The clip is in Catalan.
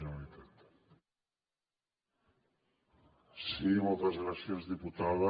sí moltes gràcies diputada